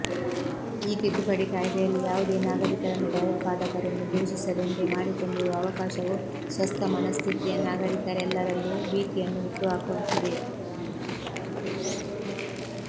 ಈ ತಿದ್ದುಪಡಿ ಕಾಯಿದೆಯಲ್ಲಿ ಯಾವುದೇ ನಾಗರಿಕರನ್ನು ಭಯೋತ್ಪಾದಕರೆಂದು ಘೋಷಿಸಲೆಂದೇ ಮಾಡಿಕೊಂಡಿರುವ ಅವಕಾಶವು ಸ್ವಸ್ಥಮನಸ್ಥಿತಿಯ ನಾಗರಿಕರೆಲ್ಲರಲ್ಲೂ ಭೀತಿಯನ್ನು ಹುಟ್ಟುಹಾಕುವಂತಿದೆ